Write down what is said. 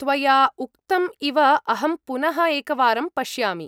त्वया उक्तम् इव अहं पुनः एकवारं पश्यामि।